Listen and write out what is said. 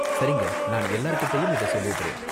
சரிங்க, நான் எல்லார்கிட்டயும் இத சொல்லிடுறேன்.